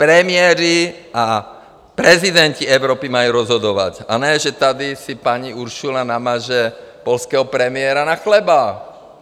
Premiéři a prezidenti Evropy mají rozhodovat, a ne že tady si paní Ursula namaže polského premiéra na chleba.